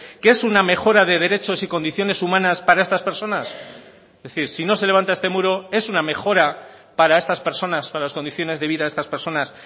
que es una mejora de derechos y condiciones humanas para estas personas es decir si no se levanta este muro es una mejora para estas personas para las condiciones de vida de estas personas